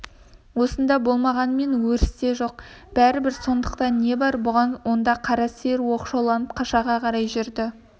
осында болмағанымен өрісте жоқ бәрібір сондықтан не бар бұған онда қара сиыр оқшауланып қашаға қарай жүрді